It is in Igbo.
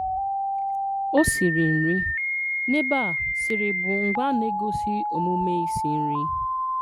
O siri nri - N'ebe a, "siri" bụ ngwaa na-egosi omume isi nri